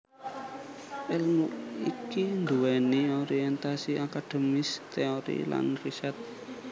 Èlmu iki nduwèni orientasi akademis teori lan riset